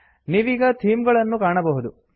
ನೀವೀಗ ಥೀಮ್ ಗಳನ್ನು ಕಾಣಬಹುದು